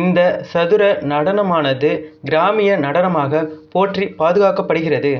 இந்த சதுர நடனமானது கிராமிய நடனமாகப் போற்றி பாதுகாக்கப்படுகிறது